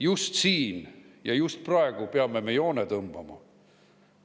Just siin ja just praegu peame me joone tõmbama.